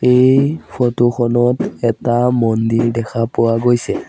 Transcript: এই ফটো খনত এটা মন্দিৰ দেখা পোৱা গৈছে।